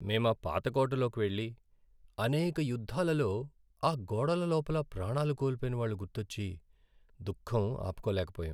మేం ఆ పాత కోటలోకి వెళ్లి, అనేక యుద్ధాలలో ఆ గోడల లోపల ప్రాణాలు కోల్పోయిన వాళ్ళు గుర్తొచ్చి దుఃఖం ఆపుకోలేకపోయాం.